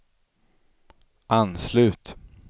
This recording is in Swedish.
anslut